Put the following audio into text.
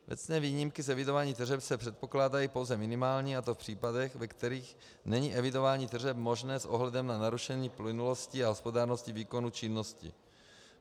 Věcné výjimky z evidování tržeb se předpokládají pouze minimálně, a to v případech, ve kterých není evidování tržeb možné s ohledem na narušení plynulosti a hospodárnosti výkonu činnosti.